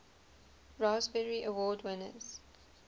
raspberry award winners